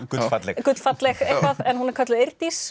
gullfalleg gullfalleg eitthvað en hún er kölluð